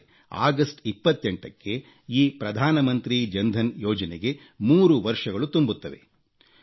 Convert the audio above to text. ನಾಳೆ ಆಗಸ್ಟ್ 28ಕ್ಕೆ ಈ ಪ್ರಧಾನಮಂತ್ರಿ ಜನ್ಧನ್ ಯೋಜನೆಗೆ 3 ವರ್ಷಗಳು ತುಂಬುತ್ತವೆ